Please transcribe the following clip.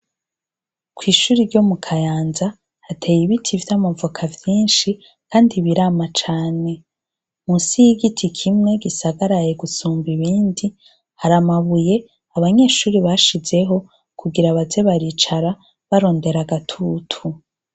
Kw'ishure ryo mu Kayanza hateye ibiti vy'amavoka vyinshi kandi birama cane munsi y'igiti kimwe gisagaraye gusumba ibindi hari amabuye abanyeshure bashizeho kugira baze baricara barondera agatutu.